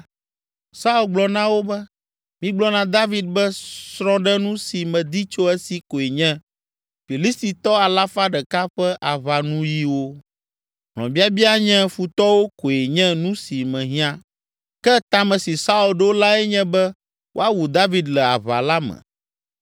Saul gblɔ na wo be, “Migblɔ na David be srɔ̃ɖenu si medi tso esi koe nye Filistitɔ alafa ɖeka ƒe aʋanuyiwo: hlɔ̃biabia nye futɔwo koe nye nu si mehiã.” Ke ta me si Saul ɖo lae nye be woawu David le aʋa la me!